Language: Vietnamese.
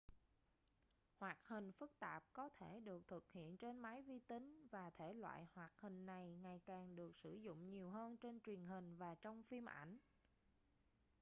hoạt hình phức tạp có thể được thực hiện trên máy vi tính và thể loại hoạt hình này ngày càng được sử dụng nhiều hơn trên truyền hình và trong phim ảnh